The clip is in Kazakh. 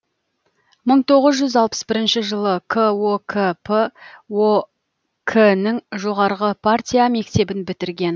мың тоғыз жүз алпыс бірінші жылы кокп ок нің жоғарғы партия мектебін бітірген